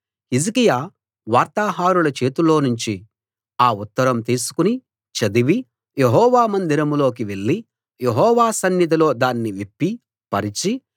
హిజ్కియా వార్తాహరుల చేతిలోనుంచి ఆ ఉత్తరం తీసుకుని చదివి యెహోవా మందిరంలోకి వెళ్లి యెహోవా సన్నిధిలో దాన్ని విప్పి పరిచి